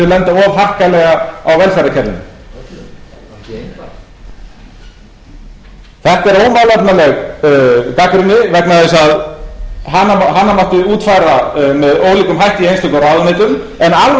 of harkalega á velferðarkerfinu þetta er ómálefnaleg gagnrýni vegna þess að hana mátti útfæra með ólíkum hætti í einstökum ráðuneytum en alvarlegast er þó af öllu að enn þá hefur ekkert komið fram varðandi evrópusambandsumsóknina sem slíka þá er ágætt